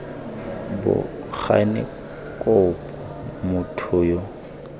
bo gane kopo motho yo